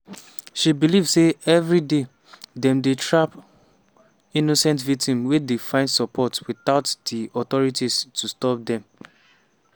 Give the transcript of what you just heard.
she believe say evri day "dem dey trap innocent victims wey dey find support witout di authorities to stop dem".